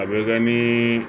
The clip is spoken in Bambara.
A bɛ kɛ ni